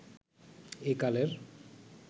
এ কালের